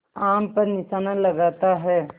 आम पर निशाना लगाता है